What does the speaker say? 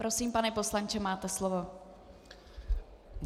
Prosím, pane poslanče, máte slovo.